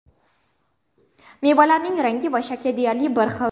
Mevalarning rangi va shakli deyarli bir xil.